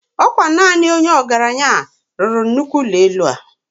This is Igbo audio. Okwa naani Onye ogaranyi lulu Nnukwu ulo elu a